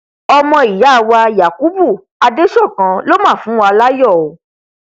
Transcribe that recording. ọmọ ìyá wa yakubu adesokan ló mà fúnwa láyọ o